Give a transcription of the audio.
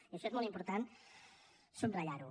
i això és molt important subratllar ho